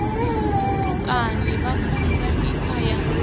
vhutukani vha funzwa mikhwa ya